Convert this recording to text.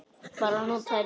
Bara að nóttin liði.